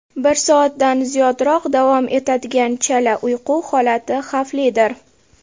Bir soatdan ziyodroq davom etadigan chala uyqu holati xavflidir.